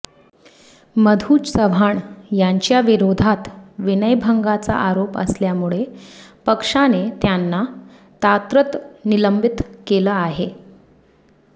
मधू चव्हाण यांच्या विरोधात विनयभंगाचा आरोप असल्यामुळे पक्षाने त्यांना तात्रतं निलंबित केलं आहे